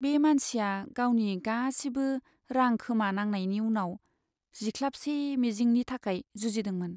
बे मानसिया गावनि गासिबो रां खोमानांनायनि उनाव जिख्लाबसे मिजिंनि थाखाय जुजिदोंमोन।